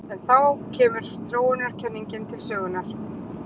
En þá kemur þróunarkenningin til sögunnar.